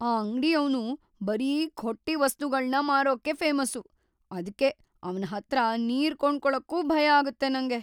ಆ ಅಂಗಡಿಯವ್ನು ಬರೀ ಖೊಟ್ಟಿ ವಸ್ತುಗಳ್ನ ಮಾರೋಕೇ ಫೇಮಸ್ಸು, ಅದ್ಕೆ ಅವ್ನ್ ಹತ್ರ ನೀರ್‌ ಕೊಂಡ್ಕೊಳಕ್ಕೂ ಭಯಾಗತ್ತೆ ನಂಗೆ.